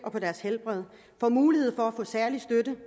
og deres helbred får mulighed for at få særlig støtte